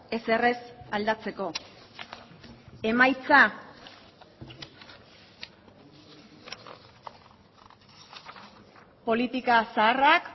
ezer ez aldatzeko emaitza politika zaharrak